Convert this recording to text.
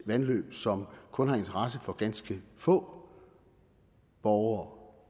vandløb som kun har interesse for ganske få borgere